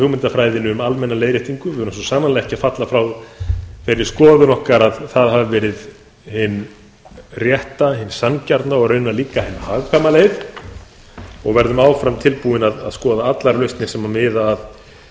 hugmyndafræðinni um almenna leiðréttingu við erum svo sannarlega ekki að falla frá þeirri skoðun okkar að það hafi verið hin rétta hin sanngjarna og raunar líka hin hagkvæma leið og verðum áfram tilbúin að skoða allar lausnir sem miða